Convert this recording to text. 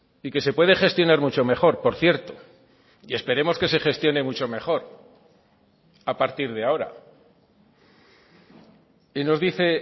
y que se puede gestionar mucho mejor por cierto y esperemos que se gestione mucho mejor a partir de ahora y nos dice